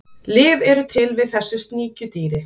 Lyf eru til við þessu sníkjudýri.